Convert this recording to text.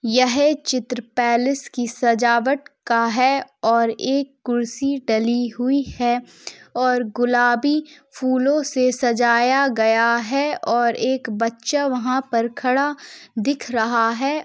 यह चित्र पैलेस की सजावट का है और एक कुर्सी डली हुई है और गुलाबी फूलों से सजाया गया है और एक बच्चा वहाँ पर खड़ा दिख रहा है।